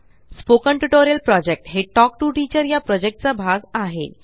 spoken tutorial project हे talk to teacher project चा भाग आहे